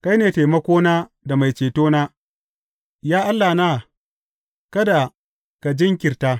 Kai ne taimakona da mai cetona; Ya Allahna, kada ka jinkirta.